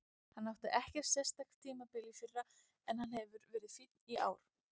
Hann átti ekkert sérstakt tímabil í fyrra en hann hefur verið fínn í ár.